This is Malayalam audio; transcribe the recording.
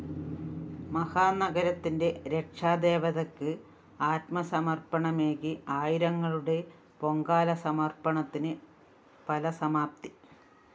മഹാനഗരത്തിന്റെ രക്ഷാദേവതക്ക് ആത്മസമര്‍പ്പണമേകി ആയിരങ്ങളുടെ പൊങ്കാലസമര്‍പ്പണത്തിന് ഫലസമാപ്തി